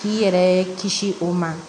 K'i yɛrɛ kisi o ma